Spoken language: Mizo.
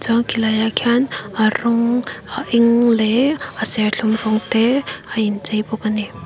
chuan khilai ah khian a rawng a eng leh a serthlum rawng te a inchei bawk ani.